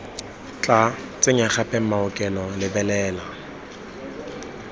tla tsenya gape maokelo lebelela